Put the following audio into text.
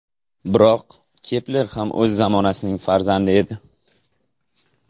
Biroq Kepler ham o‘z zamonasining farzandi edi.